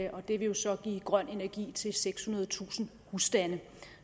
og det vil jo så give grøn energi til sekshundredetusind husstande